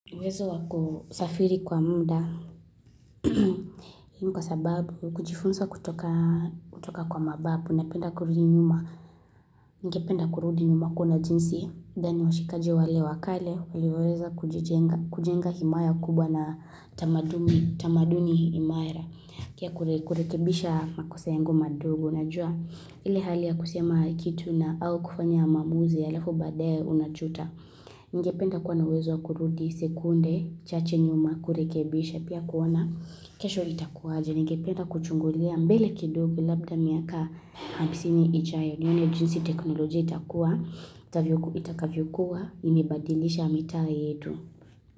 Uwezo wa kusafiri kwa muda. Nikwa sababu, kujifunza kutoka kwa mababu na penda kurudi nyuma. Ningependa kurudi nyuma kuona jinsi. Gani washikaji wale wakale, walivyoweza kujenga himaya kubwa na tamaduni himara. Pia kurekebisha makosa yangu madogo. Najua, ile hali ya kusema kitu na au kufanya maamuzi halafu baadaye unajuta. Ningependa kuwa na uwezo kurudi sekunde chache nyuma kurekebisha pia kuoana kesho itakuwaje. Ningependa kuchungulia mbele kidogu labda miaka hamsini ijayo. Nione jinsi teknolojia itakua itakavyokuwa imebadilisha mitaa yetu.